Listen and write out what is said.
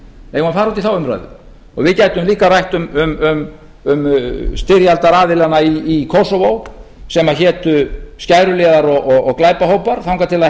eigum við að fara út í þá umræðu við gætum líka rætt um styrjaldaraðilana í kósóvó sem hétu skæruliðar og glæpahópar þangað til það